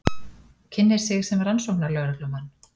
Kynnir sig sem rannsóknarlögreglumann.